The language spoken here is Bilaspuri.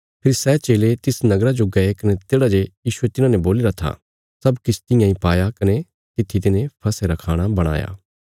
फेरी सै चेले तिस नगरा जो गये कने तेढ़ा जे यीशुये तिन्हाने बोलीरा था सब किछ तियां इ पाया कने तित्थी तिन्हे फसह रा खाणा बणाया